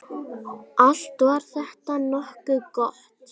Allt var þetta nokkuð gott.